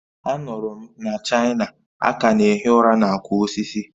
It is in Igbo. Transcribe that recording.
A nụrụ m na China, a ka na-ehi ụra na akwa osisi